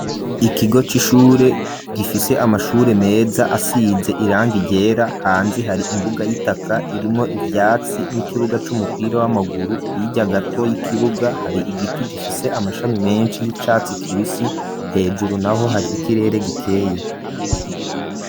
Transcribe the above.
Ikigo c'ishure gifise amashure meza asize irangi igera hanze hari imbuga y'itaka irimwo ibyatsi n'ikibuga c'umupira w'amaguru yijya gato y'ikibuga hari igiti gifise amashami menshi y'icatsi kibisi, hejuru naho hari ikirere gikeye.